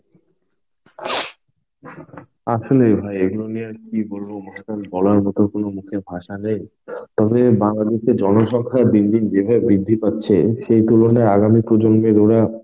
আসলে ভাই এগুলো নিয়ে আর কি বলবো বলার মতো কোনো মুখের ভাষা নেই. তবে বাঙালিকে জনসংখ্যায় দিন দিন যেভাবে বৃদ্ধি পাবে সেই তুলনায় আগামী প্রজন্মের ওরা